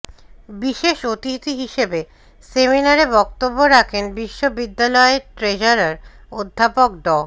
বিশেষ অতিথি হিসেবে সেমিনারে বক্তব্য রাখেন বিশ্ববিদ্যালয়ের ট্রেজারার অধ্যাপক ড